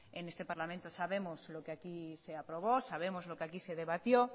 en este parlamento sabemos lo que aquí se aprobó sabemos lo que aquí se debatió